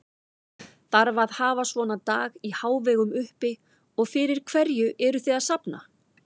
Þarf að hafa svona dag í hávegum uppi og fyrir hverju eruð þið að safna?